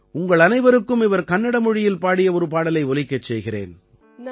உங்கள் அனைவருக்கும் அவர் கன்னட மொழியில் பாடிய ஒரு பாடலை ஒலிக்கச் செய்கிறேன்